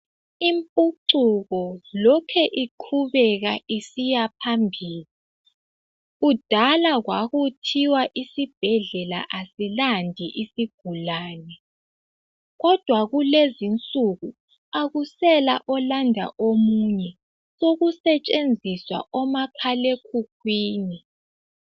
Impucuko lokhe iqhubeka isiya phambili .Kudala kwakuthiwa isibhedlela asilandi isigulane, kodwa kulezinsuku akusela olanda omunye sokusetshenziswa omakhala ekhukhwini.